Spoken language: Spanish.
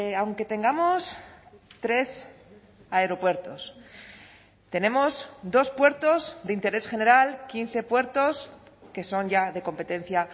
aunque tengamos tres aeropuertos tenemos dos puertos de interés general quince puertos que son ya de competencia